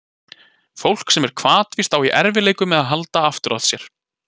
Fólk sem er hvatvíst á í erfiðleikum með að halda aftur af sér.